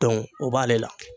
[cs Dɔnku ] o b'ale la